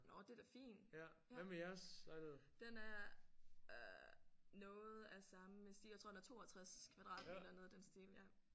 Nåh det er da fin ja. Den er øh noget af samme sti jeg tror den er 62 kvadratmeter eller noget i den stil ja